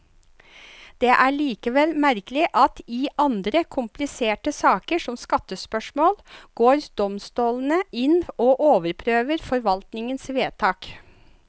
Det er likevel merkelig at i andre kompliserte saker, som skattespørsmål, går domstolene inn og overprøver forvaltningens vedtak.